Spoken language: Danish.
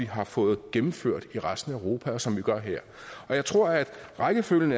har fået gennemført i resten af europa og som vi gør her jeg tror at rækkefølgen